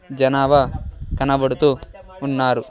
జనభా కనబడుతూ ఉన్నారు.